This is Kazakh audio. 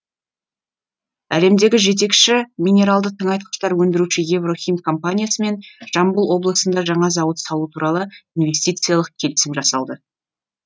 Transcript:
әлемдегі жетекші минералды тыңайтқыштар өндіруші еврохим компаниясымен жамбыл облысында жаңа зауыт салу туралы инвестициялық келісім жасалды